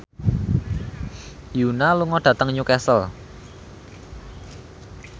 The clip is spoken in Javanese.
Yoona lunga dhateng Newcastle